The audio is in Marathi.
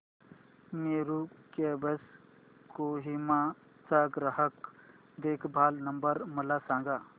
मेरू कॅब्स कोहिमा चा ग्राहक देखभाल नंबर मला सांगा